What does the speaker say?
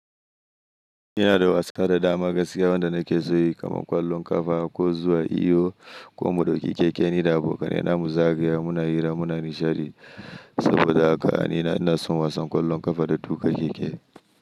Ina da wasa da dama gaskiya wanda na ke so yi kamar ƙwallon ƙafa, haƙo zuwa iyo, ko mu dauki keke, ni na abokanai na muzagaya muna hira muna nishadi saboda haka ni na inason wasan ƙwallon ƙafa da tuƙa keke.